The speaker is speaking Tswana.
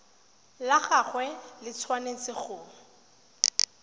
la gagwe le tshwanetse go